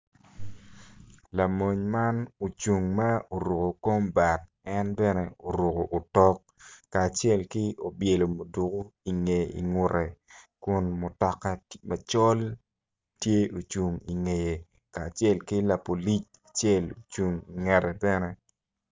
Lamony man ocung ma oruko kombat en bene oruko otok kacel ki obyelo muduko ingute kun mutoka macol tye ocung ingeye kacel ki lapolic acel ocung ingete bene.